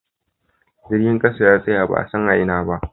Jirgin kasa ya tsaya ba'a san a Ina ba.